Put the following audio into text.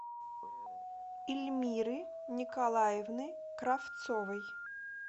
ильмиры николаевны кравцовой